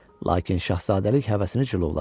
Lakin şahzadəlik həvəsini cilovladı.